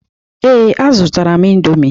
Ee, a zụrụ m indọmii.